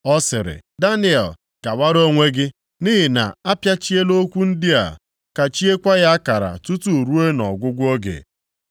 Ọ sịrị, “Daniel, gawara onwe gị. Nʼihi na-apịachiela okwu ndị a, kachiekwa ya akara tutu ruo nʼọgwụgwụ oge.